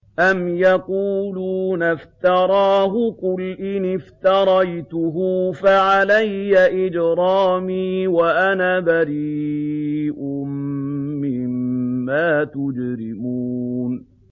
أَمْ يَقُولُونَ افْتَرَاهُ ۖ قُلْ إِنِ افْتَرَيْتُهُ فَعَلَيَّ إِجْرَامِي وَأَنَا بَرِيءٌ مِّمَّا تُجْرِمُونَ